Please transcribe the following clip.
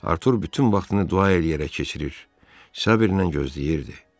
Artur bütün vaxtını dua eləyərək keçirir, səbirlə gözləyirdi.